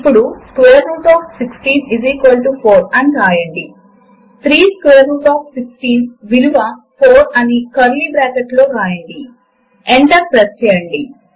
ఇప్పుడు ఒక క్రొత్త టెక్స్ట్ డాక్యుమెంట్ ను ఓపెన్ చేయడము కొరకు లిబ్రిఆఫిస్ వ్రైటర్ పైన క్లిక్ చేయండి